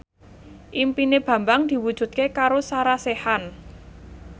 impine Bambang diwujudke karo Sarah Sechan